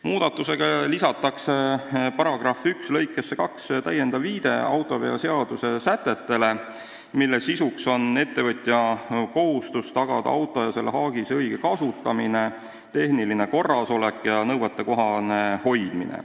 Muudatusega lisatakse § 1 lõikesse 2 täiendav viide autoveoseaduse sätetele, mille sisuks on ettevõtja kohustus tagada auto ja selle haagise õige kasutamine, tehniline korrasolek ja nõuetekohane hoidmine.